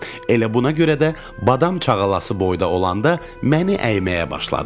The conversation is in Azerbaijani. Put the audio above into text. Elə buna görə də badam çaqalası boyda olanda məni əyməyə başladı.